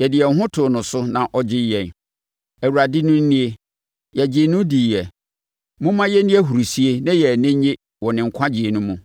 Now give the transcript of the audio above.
yɛde yɛn ho too no so na ɔgyee yɛn; Awurade no nie, yɛgyee no diiɛ; momma yɛnni ahurisie na yɛn ani nnye wɔ ne nkwagyeɛ no mu.”